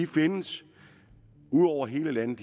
findes ud over hele landet